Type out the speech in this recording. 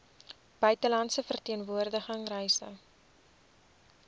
buitelandse verteenwoordiging reise